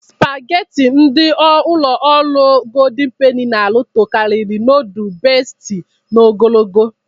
Spageti ndị ụlọ ọrụ Goldịn Peni n'arụ tokariri nudul Besti n'ogologo.